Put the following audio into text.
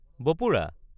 বপুৰা!